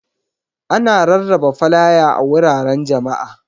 Ana rarraba flaya a wuraren jama'a.